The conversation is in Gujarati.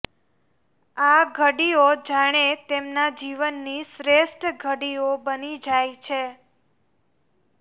આ ઘડીઓ જાણે તેમના જીવનની શ્રેષ્ઠ ઘડીઓ બની જાય છે